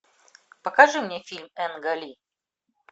покажи мне фильм энга ли